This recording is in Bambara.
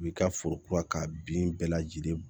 U b'i ka foro kura k'a bin bɛɛ lajɛlen